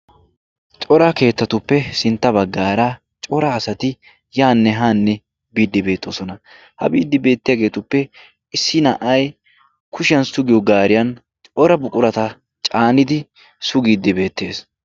coraa keettatuppe sintta baggaara cora asati yaane haanne biiddi beetoosona . ha biiddi beettiyaageetuppe issi na'ay kushiyan sugiyo gaariyan xora buqurata caanidi sugiiddi beettees